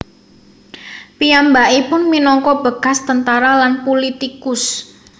Piyambakipun minangka bekas tentara lan pulitikus